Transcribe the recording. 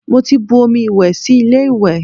Mo ti bu omi ìwẹ̀ sí ilé ìwẹ̀